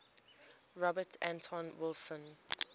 robert anton wilson